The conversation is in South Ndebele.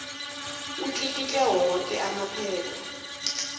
atlikitle woke amaphepha